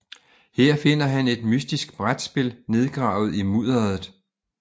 Her finder han et mystisk brætspil nedgravet i mudderet